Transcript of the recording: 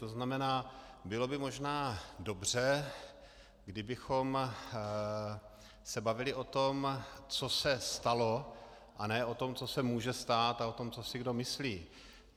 To znamená, bylo by možná dobře, kdybychom se bavili o tom, co se stalo, a ne o tom, co se může stát, a o tom, co si kdo myslí.